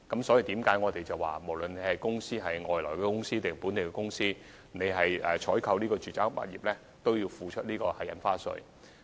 正因如此，無論是外地公司或本地公司，凡購買住宅物業均須繳付印花稅。